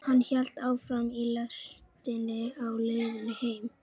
Hann hélt áfram í lestinni á leiðinni heim.